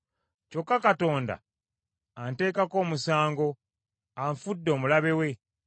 Kyokka Katonda anteekako omusango, anfudde omulabe we.